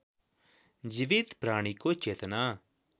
जीवित प्राणीको चेतना